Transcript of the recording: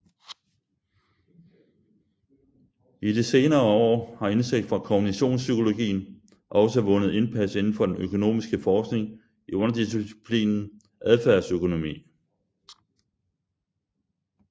I de senere år har indsigt fra kognitionspsykologien også vundet indpas inden for den økonomiske forskning i underdisciplinen adfærdsøkonomi